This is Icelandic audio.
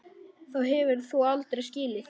Þá hefur þú aldrei skilið.